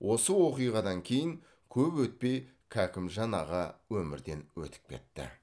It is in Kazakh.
осы оқиғадан кейін көп өтпей кәкімжан аға өмірден өтіп кетті